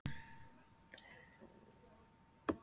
Hvaða dýr var kermit í prúðuleikurunum?